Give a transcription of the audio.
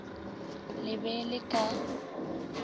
le be le le ka